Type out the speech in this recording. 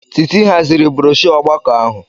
Titi haziri broshọ ọgbakọ ahụ.